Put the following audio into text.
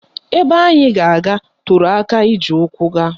Ebe anyị ga-aga toro aka iji ụkwụ gaa